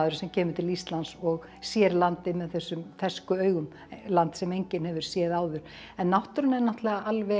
sem kemur til Íslands og sér landið með þessum fersku augum land sem enginn hefur séð áður en náttúran er náttúrlega alveg